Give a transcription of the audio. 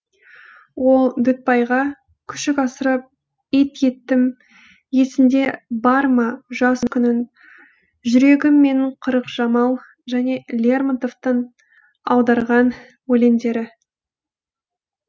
ол дүтбайға күшік асырап ит еттім есіңде бар ма жас күнің жүрегім менің қырық жамау және лермонтовтан аударған өлеңдері